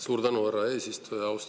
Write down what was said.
Suur tänu, härra eesistuja!